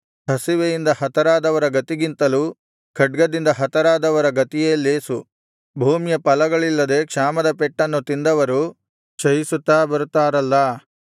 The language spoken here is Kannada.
ಹಸಿವೆಯಿಂದ ಹತರಾದವರ ಗತಿಗಿಂತಲೂ ಖಡ್ಗದಿಂದ ಹತರಾದವರ ಗತಿಯೇ ಲೇಸು ಭೂಮಿಯ ಫಲಗಳಿಲ್ಲದೆ ಕ್ಷಾಮದ ಪೆಟ್ಟನ್ನು ತಿಂದವರು ಕ್ಷಯಿಸುತ್ತಾ ಬರುತ್ತಾರಲ್ಲಾ